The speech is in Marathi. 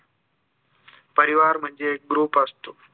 परिवार म्हणजे एक group असतो